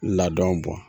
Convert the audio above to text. Ladon bɔn